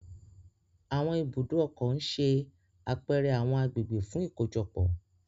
Awọn Ibùdó ọkọ̀ n ṣe apẹrẹ awọn agbegbe fun ikojọpọ